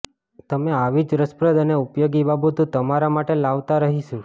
અમે આવી જ રસપ્રદ અને ઉપયોગી બાબતો તમારા માટે લાવતા રહીશું